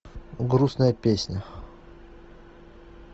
грустная песня